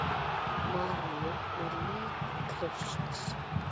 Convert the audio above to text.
Maríu með lík Krists.